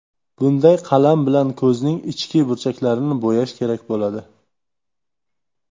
Bunday qalam bilan ko‘zning ichki burchaklarini bo‘yash kerak bo‘ladi.